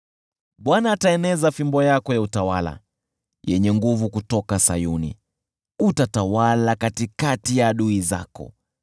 Bwana ataeneza fimbo yako ya utawala yenye nguvu kutoka Sayuni; utatawala katikati ya adui zako.